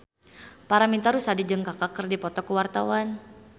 Paramitha Rusady jeung Kaka keur dipoto ku wartawan